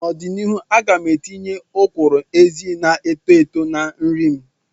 N'ọdịnihu, m ga-etinye ọkwụrụ-ezi na-eto eto na nri m.